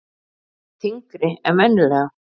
Þyngri en venjulega.